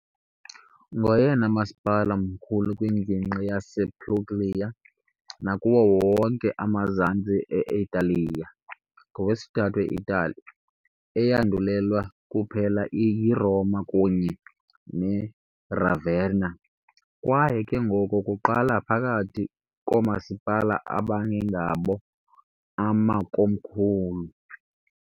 Ngoyena masipala mkhulu kwingingqi yasePuglia nakuwo wonke amazantsi e-Italiya, okwesithathu e-Itali, eyandulelwa kuphela yiRoma kunye neRavenna kwaye ke ngoko kuqala phakathi koomasipala abangengabo amakomkhulu.